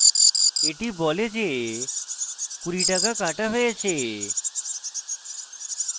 cancellation status details পৃষ্ঠা খোলে এটি বলে যে 20 টাকা কাটা হয়েছে